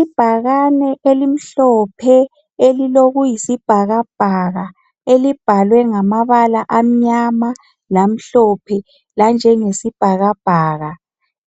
Ibhakane elimhlophe elilokuyisibhakabhaka elibhalwe ngamabala amnyama lamhlophe , lanjengesibhakabhaka,